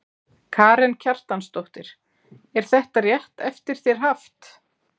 Karen Kjartansdóttir: Er þetta rétt eftir þér haft?